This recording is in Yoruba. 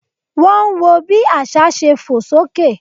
Wọ́n ń wọ bí àsá ṣe fò sókè